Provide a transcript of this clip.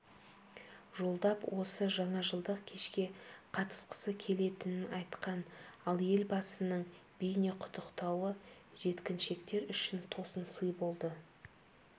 жолдап осы жаңажылдық кешке қатысқысы келетінен айтқан ал елбасының бейнеқұттықтауы жеткіншектер үшін тосын сый болды